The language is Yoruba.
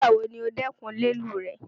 Nígbàwọ́ ní ò dẹ́kún lẹ́lù rẹ́?